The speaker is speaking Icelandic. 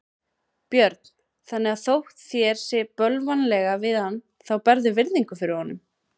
Björn: Þannig að þótt þér sé bölvanlega við hann þá berðu virðingu fyrir honum?